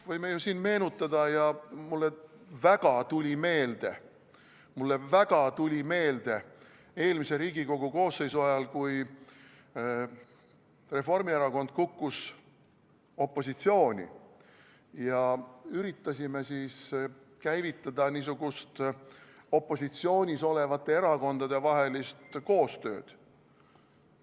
Võime ju siin meenutada, ja mulle väga tuli meelde, mulle väga tuli meelde eelmise Riigikogu koosseisu ajal, kui Reformierakond kukkus opositsiooni ja üritasime käivitada niisugust opositsioonis olevate erakondade vahelist koostööd.